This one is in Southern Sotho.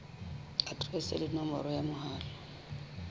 aterese le nomoro ya mohala